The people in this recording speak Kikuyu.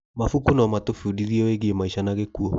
Mabuku no matũbundithie wĩgiĩ maica na gĩkuũ.